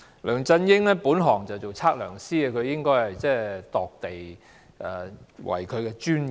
"梁振英的本行是測量師，量度土地是他的專業。